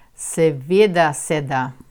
Seveda se da.